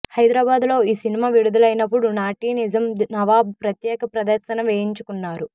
హైదరాబాదులో ఈ సినిమా విడుదలైనపుడు నాటి నిజాం నవాబు ప్రత్యేక ప్రదర్శన వేయించుకున్నారు